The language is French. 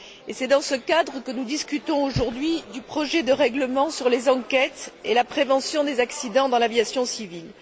C'est dans ce cadre que nous discutons aujourd'hui du projet de règlement sur les enquêtes et la prévention des accidents dans l'aviation civile.